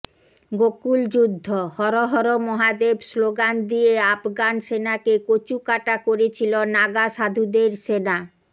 গোকুল যুদ্ধঃ হর হর মহাদেব শ্লোগান দিয়ে আফগান সেনাকে কচু কাটা করেছিল নাগা সাধুদের সেনা